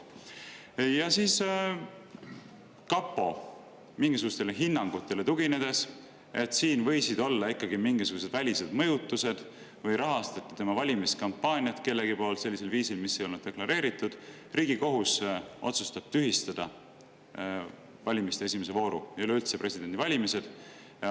Ja siis kapo mingisugustele hinnangutele tuginedes, siin võisid olla ikkagi mingisugused välised mõjutused või rahastas keegi tema valimiskampaaniat sellisel viisil, mis ei olnud deklareeritud, Riigikohus otsustab tühistada valimiste esimese vooru ja üleüldse presidendivalimised.